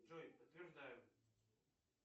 джой подтверждаю